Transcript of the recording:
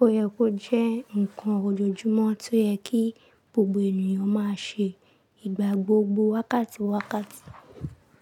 Ó yẹ kó jẹ́ ǹkan ojoojúmọ́ tó yẹ kí gbogbo ènìyàn máa ṣe ìgbà gbogbo wákàtí wákàtí.